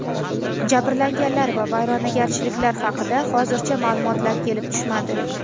Jabrlanganlar va vayronagarchiliklar haqida hozircha ma’lumotlar kelib tushmadi.